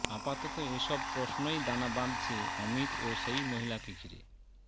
আপাতত এ সব প্রশ্নই দানা বাঁধছে অমিত ও সেই মহিলাকে ঘিরে